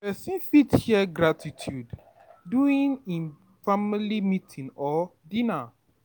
person fit Share gratitude doing im family meeting or dinner